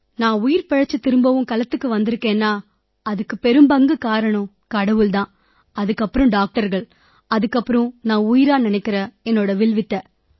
நான் உயிர் பிழைச்சுத் திரும்பவும் களத்துக்கு வந்திருக்கேன்னா அதுக்குப் பெரும்பங்குக் காரணம் கடவுள் தான் அதன் பிறகு டாக்டர்கள் பிறகு வில்வித்தை